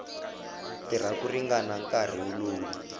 tirha ku ringana nkarhi lowu